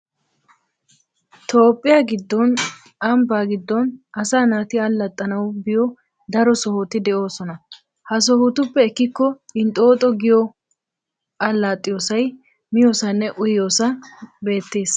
Toophphiya giddon ambbaa giddon asaa naati allaxxanawu biyo daro sohoti de'oosona. Ha sohotuppe ekkikko entoto giyo allaxxiyoosay, miyoosaynne uyiyoosay beettes.